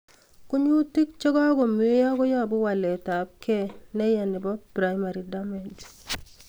Kunyutik che kagomeyo koyobu walet ab kei neya nebo primary damage